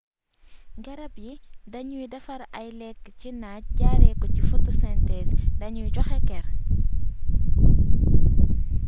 garab yi dañuy defar ay lekk ci naaj jaaree ko si photosynthèse dañuy joxe ker